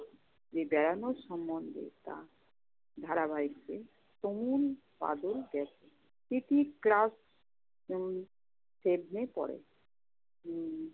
বেড়ানোর সম্মন্ধে তার ধারাবহিকভাবে কোমল বাদল গ্যাস। প্রীতি class উম seven এ পড়ে। উম